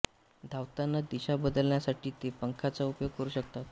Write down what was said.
धावताना दिशा बदलण्यासाठी ते पंखांचा उपयोग करू शकतात